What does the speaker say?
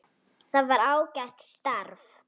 Það var ágætt starf.